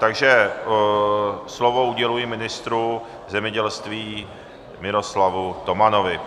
Takže slovo uděluji ministru zemědělství Miroslavu Tomanovi.